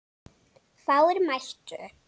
Fáir mættu.